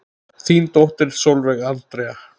Þín dóttir Sólveig Andrea.